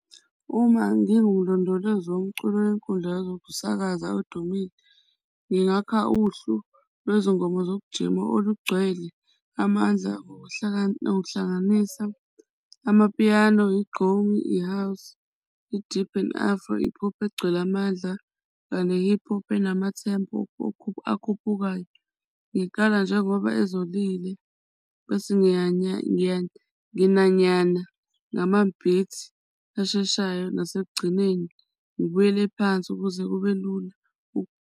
Uma ngiwumlondolozi womculo kwenkundla wezokusakaza odumile, ngingakha uhlu lwezingoma zokujima olugcwele amandla okuhlanganisa amapiyano, igqomu, i-house, i-deep and afro, i-hip-hop egcwele amandla kanye ne-hip-hop enama-tempo akhuphukayo. Ngiqala njengoba ezolile bese nginanyana, ngamanye beats asheshayo nasekugcineni, ngibuyele phansi ukuze kube lula.